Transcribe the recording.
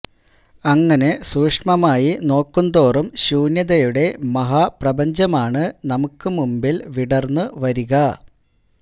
അങ്ങനെ സൂക്ഷ്മമായി നോക്കുംതോറും ശൂന്യതയുടെ മഹാപ്രപഞ്ചമാണ് നമുക്കു മുമ്പില് വിടര്ന്നു വരിക